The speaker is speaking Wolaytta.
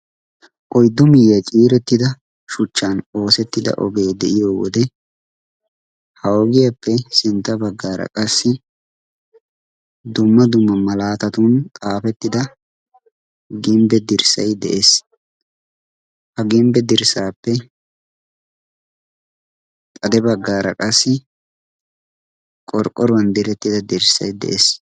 oyddu miiyiyaa ciirettida shuchchan oosettida ogee de'iyo wode ha ogiyaappe sintta baggaara qassi domma duma malaatatun xaafettida gimbbe dirssay de7ees ha gimbbe dirssaappe xade baggaara qassi qorqqoruwan direttida dirssai de'ees